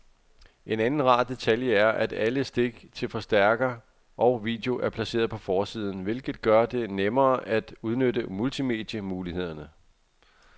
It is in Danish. En anden rar detalje er, at alle stik til forstærker og video er placeret på forsiden, hvilket gør det nemmere at udnytte multimedie-mulighederne.